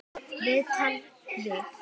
Viðtal við